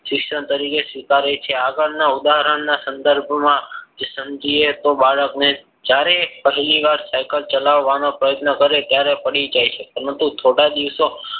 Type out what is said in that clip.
શિક્ષણ તરીકે સ્વીકારે છે. આગળના ઉદાહરણના સંદર્ભમાં સમજીએ. તો બાળકને જ્યારે પહેલીવાર cycle ચલાવવાનો પ્રયત્ન કરે ત્યારે પડી જાય છે. પરંતુ થોડા દિવસો